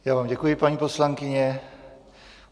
Já vám děkuji, paní poslankyně.